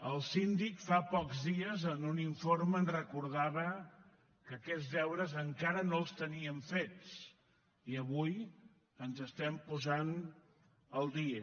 el síndic fa pocs dies en un informe ens recordava que aquests deures encara no els teníem fets i avui ens estem posant al dia